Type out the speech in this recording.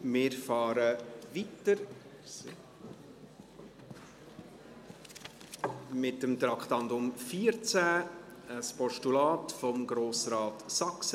Wir fahren weiter mit dem Traktandum 14, ein Postulat von Grossrat Saxer: